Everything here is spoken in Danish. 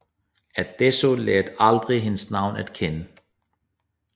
Adso lærte aldrig hendes navn at kende